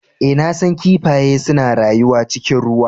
Ee, na san kifaye suna rayuwa cikin ruwa.